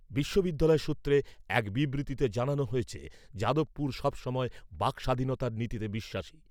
বিশ্ববিদ্যালয় সূত্রে এক বিবৃতিতে জানানো হয়েছে, যাদবপুর সবসময় বাক্ স্বাধীনতার নীতিতে বিশ্বাসী।